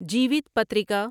جیوت پتریکا